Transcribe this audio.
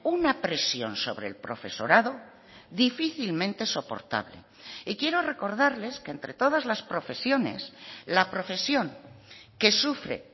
una presión sobre el profesorado difícilmente soportable y quiero recordarles que entre todas las profesiones la profesión que sufre